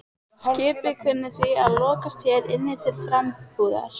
Skipið kunni því að lokast hér inni til frambúðar.